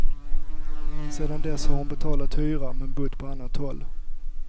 Sedan dess har hon betalat hyra men bott på annat håll.